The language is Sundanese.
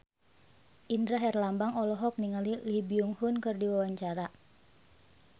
Indra Herlambang olohok ningali Lee Byung Hun keur diwawancara